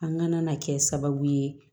An ŋana kɛ sababu ye